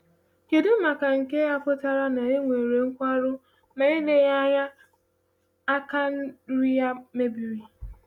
Kedụ ma nke a pụtara na Ehud nwere nkwarụ, ma eleghị anya aka nri ya mebiri?